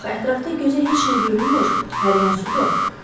Axı ətrafda gözə heç nə görünmür, hər yan sudur.